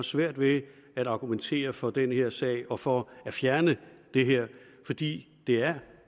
svært ved at argumentere for den her sag og for at fjerne det her fordi det er